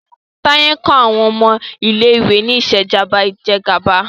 Taye nkó awọn ọmọ ilé ìwé ní Ìṣèjọba Ìjẹgàba